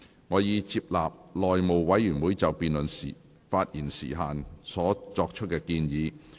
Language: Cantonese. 我已接納內務委員會就辯論發言時限作出的建議。